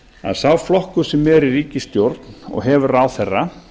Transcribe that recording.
að sá flokkur sem er í ríkisstjórn og hefur ráðherra